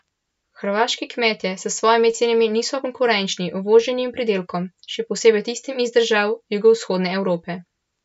Hrvaški kmetje s svojimi cenami niso konkurenčni uvoženim pridelkom, še posebej tistim iz držav jugovzhodne Evrope.